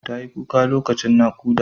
Tayi kuka lokacin naƙuda.